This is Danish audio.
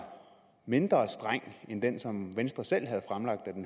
mindre streng end den som venstre selv